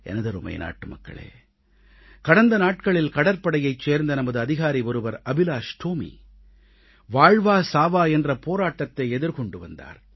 எனதருமை நாட்டுமக்களே கடந்த நாட்களில் கடற்படையைச் சேர்ந்த நமது அதிகாரி ஒருவர் அபிலாஷ் டோமி வாழ்வா சாவா என்ற போராட்டத்தை எதிர்கொண்டு வந்தார்